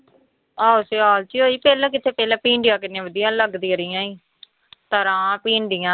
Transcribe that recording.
ਆਹੋ ਸਿਆਲ ਚ ਹੀ ਹੋਈ ਪਹਿਲਾਂ ਕਿੱਥੇ ਪਹਿਲਾਂ ਭਿੰਡੀਆਂ ਕਿੰਨੀਆਂ ਵਧੀਆ ਲੱਗਦੀਆਂ ਰਹੀਆਂ ਤਰਾਂ, ਭਿੰਡੀਆਂ